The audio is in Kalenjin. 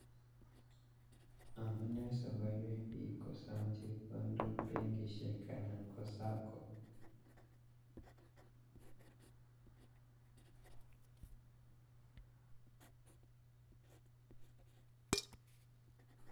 Amune sokoywei piik kosom chepkondok bankishek anan ko SACCO